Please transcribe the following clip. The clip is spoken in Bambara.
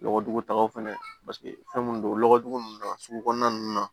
Lɔgɔdugu tagaw fɛnɛ paseke fɛn mun don lɔgɔdugu ninnu na sugu kɔnɔna ninnu na